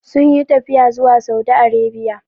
Sun yi tafiya zuwa Saudi Arabia.